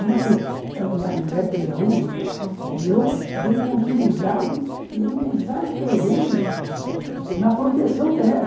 Muito... Minha mulher é filha única e eu dei continuidade e ainda exagerei na proteção dela.